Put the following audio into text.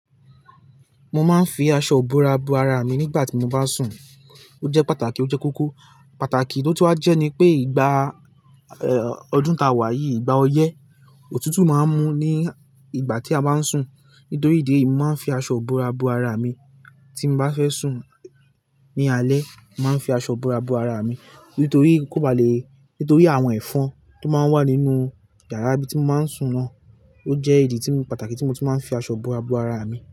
Mo máa ń fi aṣọ ìbora bo ara mi nígbà tí mo bá sùn. Ó jẹ́ pàtàkì, ó jẹ́ kókó. Pàtàkì tó tù wa jẹ́ ni pé ìgbà, ọdún ta wá yìí, ìgbà ọyẹ́, òtútù máa ń mú ní ìgbà tí a bá ń sùn. Nítorí ìdí èyí, mo máa ń fi aṣọ ìbora bo ara mi. Tí mo bá fẹ́ sùn ní alẹ́, màá ń fi aṣọ ìbora bo ara mi. Nítorí kóba le, nítorí àwọn ẹ̀fọn tó máa ń wà nínú yàrá ibi tí mo máa ń sùn náà. Ó jẹ́ ìdí tí mi, pàtàkì tí mo ti máa ń fi aṣọ ìbora bo ara mi.